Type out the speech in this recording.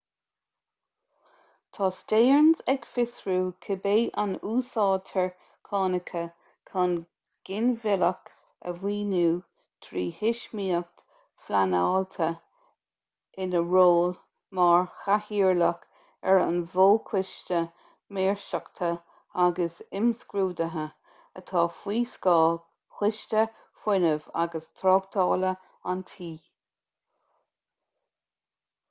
tá stearns ag fiosrú cibé an úsáidtear cánacha chun ginmhilleadh a mhaoiniú trí thuismíocht phleanáilte ina ról mar chathaoirleach ar an bhfo-choiste maoirseachta agus imscrúduithe atá faoi scáth choiste fuinnimh agus tráchtála an tí